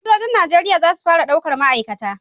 Sojojin Najeriya za su fara daukar ma'aikata.